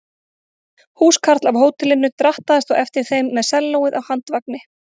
Húskarl af hótelinu drattaðist á eftir þeim með sellóið á handvagni.